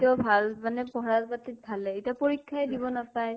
পাতি ও ভাল মানে পঢ়া পাতি ত ভালেই, এতিয়া পৰীক্ষা য়ে দিব নাপায় ।